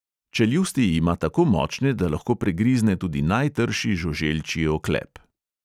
Čeljusti ima tako močne, da lahko pregrizne tudi najtrši žuželčji oklep.